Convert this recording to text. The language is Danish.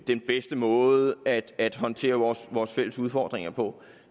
den bedste måde at at håndtere vores vores fælles udfordringer på